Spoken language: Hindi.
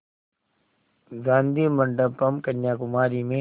गाधी मंडपम् कन्याकुमारी में